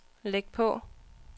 læg på